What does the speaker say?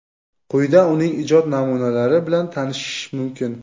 Quyida uning ijod namunalari bilan tanishish mumkin.